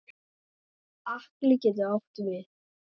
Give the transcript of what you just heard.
Atli getur átt við